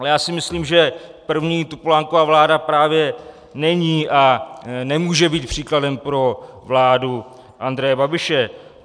Ale já si myslím, že první Topolánkova vláda právě není a nemůže být příkladem pro vládu Andreje Babiše.